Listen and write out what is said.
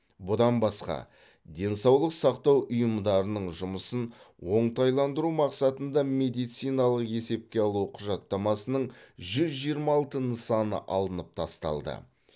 бұдан басқа денсаулық сақтау ұйымдарының жұмысын оңтайландыру мақсатында медициналық есепке алу құжаттамасының жүз жиырма алты нысаны алынып тасталды